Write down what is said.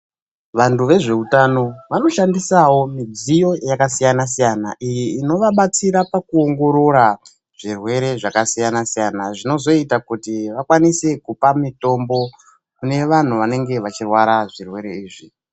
Vantu vezveutano vanoshandisawo midziyo yakasiyana-siyana, iyi inovabatsira pakuongorora zvirwere zvakasiyana-siyana zvinozoita kuti vakwanise kupa mutombo kune vantu vanenge vachirwara zvirwere izvi.